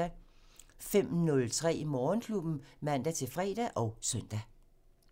05:03: Morgenklubben (man-fre og søn)